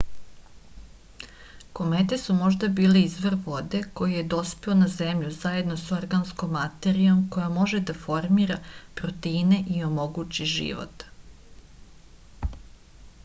komete su možda bile izvor vode koji je dospeo na zemlju zajedno sa organskom materijom koja može da formira proteine i omogući život